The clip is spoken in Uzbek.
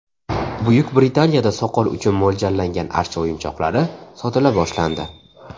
Buyuk Britaniyada soqol uchun mo‘ljallangan archa o‘yinchoqlari sotila boshlandi.